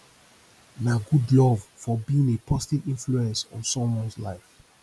na good love for being a positive influence on someones life